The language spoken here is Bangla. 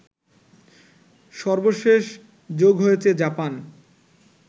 সর্বশেষ যোগ হয়েছে জাপান